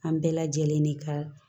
An bɛɛ lajɛlen de ka